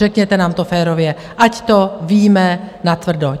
Řekněte nám to férově, ať to víme natvrdo.